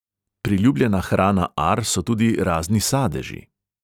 Priljubljena hrana ar so tudi razni sadeži.